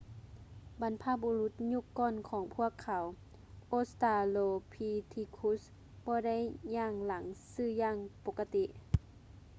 ບັນພະບູລຸດຍຸກກ່ອນຂອງພວກເຂົາ australopithecus ບໍ່ໄດ້ຍ່າງຫຼັງຊື່ຢ່າງປົກກະຕິ